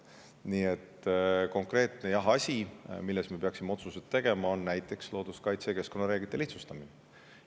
Nii et konkreetne asi, milles me peaksime otsuseid tegema, on näiteks looduskaitse- ja keskkonnareeglite lihtsustamine.